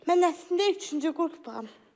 Mən əslində üçüncü qrupam.